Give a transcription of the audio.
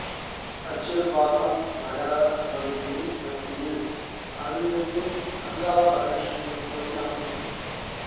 அச்சிறுபாக்கம் நகர பகுதியின் மத்தியில் அருள்மிகு அங்காள பரமேஸ்வரி கோவில் அமைந்துள்ளது